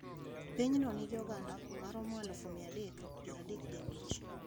Piny no nigi oganda ma romo alif mia adek piero adek gi abich